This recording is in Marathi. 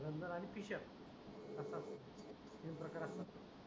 भगंदर आणि फिशर सतत तीन प्रकारातल